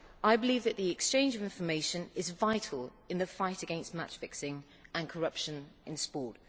I believe that the exchange of information is vital in the fight against match fixing and corruption in sport.